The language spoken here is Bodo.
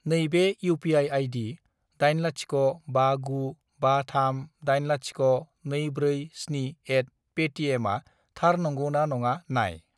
नैबे इउ.पि.आइ. आइदि 80595380247@paytm आ थार नंगौ ना नङा नाय।